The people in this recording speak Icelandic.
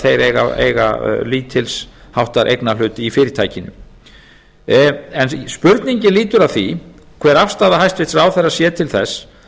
þeir eiga lítils háttar eignarhlut í fyrirtækinu spurningin lýtur að því hver afstaða hæstvirtur ráðherra sé til þess